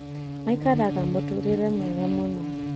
Maikaraga mũtũrĩre mwega mũno